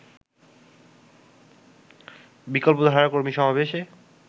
বিকল্পধারার কর্মী সমাবেশে